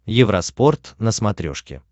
евроспорт на смотрешке